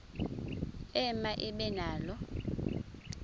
ema ibe nalo